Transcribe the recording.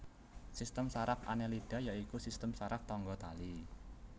Sistem saraf Annelida ya iku sistem saraf tangga tali